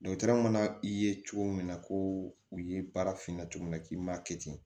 mana i ye cogo min na ko u ye baarafinna cogo min na k'i m'a kɛ ten